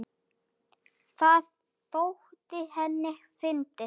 Það þótti henni fyndið.